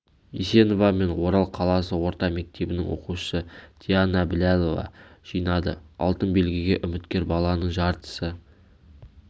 есенова мен орал қаласы орта мектебінің оқушысы диана біләлова жинады алтын белгіге үміткер баланың жартысы